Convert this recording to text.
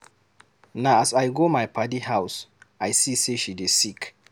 Na as I go my paddy house I see sey she dey sick.